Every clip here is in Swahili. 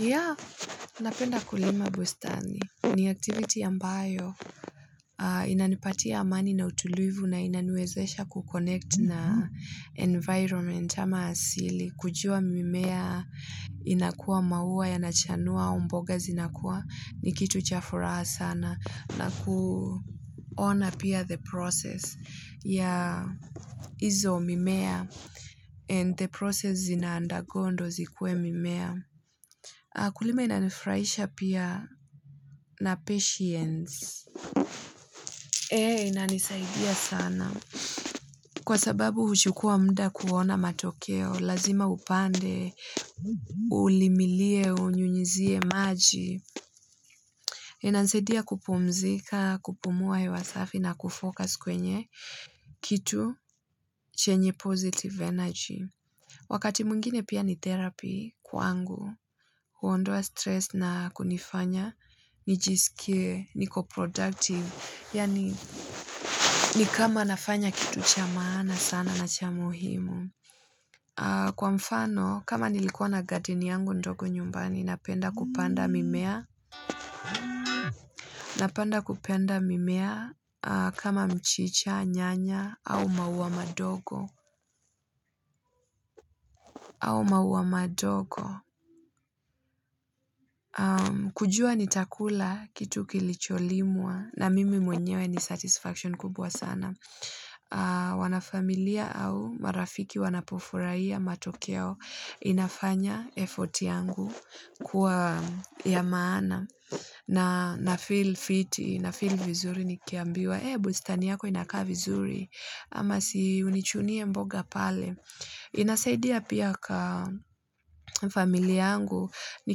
Ya, napenda kulima bustani. Ni activity ambayo inanipatia amani na utulivu na inaniwezesha kukonect na environment ama asili. Kujua mimea inakuwa maua ya nachanua au mboga zinakua ni kitu chafuraha sana na kuona pia the process ya izo mimea and the process zina undergo ndo zikuwe mimea. Kulima inanifurahisha pia na patience. Eeh, inanisaidia sana. Kwa sababu huchukua mda kuona matokeo, lazima upande, ulimilie, unyunyizie maji. Inanisaidia kupumzika, kupumua hewasafi na kufocus kwenye. Kitu, chenye positive energy. Wakati mwingine pia ni therapy kwangu, huondoa stress na kunifanya, ni jiskie, niko productive, yaani ni kama nafanya kitu cha maana sana na cha muhimu. Kwa mfano, kama nilikuwa na garden yangu ndogo nyumbani, napenda kupanda mimea, napanda kupenda mimea kama mchicha, nyanya, au maua madogo. Au maua madogo kujua ni takula kitu kilicholimwa na mimi mwenyewe ni satisfaction kubwa sana wanafamilia au marafiki wanapofurahia matokeo inafanya effort yangu kuwa ya maana na na feel fiti na feel vizuri ni kiambiwa ee bustani yako inakaa vizuri ama si unichunie mboga pale inasaidia pia ka familia yangu ni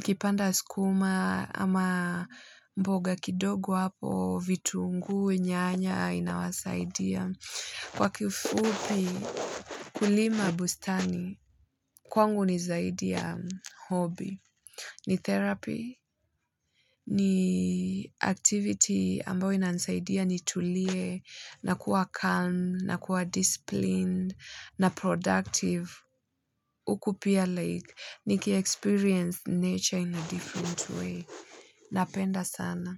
kipanda sukuma ama mboga kidogo hapo, vitunguu nyanya, inawasaidia kwa kifupi kulima bustani kwangu ni zaidi ya hobby, ni therapy ni activity ambayo inanisaidia ni tulie, na kuwa calm na kuwa disciplined na productive uku pia like. Niki experience nature in a different way. Napenda sana.